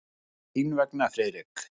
Aðeins þín vegna, Friðrik.